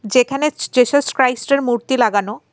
যেখানে জেসাস ক্রাইস্টের এর মূর্তি লাগানো.